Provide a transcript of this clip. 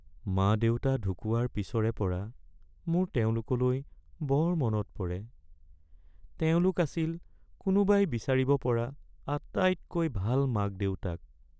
মা-দেউতা ঢুকুৱাৰ পিছৰে পৰা মোৰ তেওঁলোকলৈ বৰ মনত পৰে। তেওঁলোক আছিল কোনোবাই বিচাৰিব পৰা আটাইতকৈ ভাল মাক-দেউতাক ।